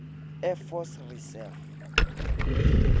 air force reserve